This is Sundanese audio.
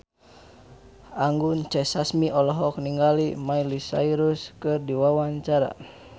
Anggun C. Sasmi olohok ningali Miley Cyrus keur diwawancara